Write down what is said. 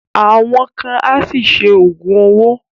Àwọn kan á ṣì ṣe Ògùn owó